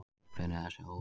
Uppruni þess er óviss.